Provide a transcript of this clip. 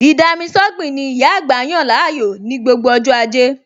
Ì-dami-sọ́gbìn ni ìyá àgbà yàn láàyò ní gbogbo ọj́ ajẹ́